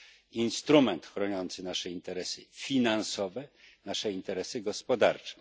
na instrument chroniący nasze interesy finansowe, nasze interesy gospodarcze.